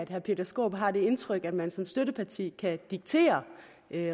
herre peter skaarup har det indtryk at man som støtteparti kan diktere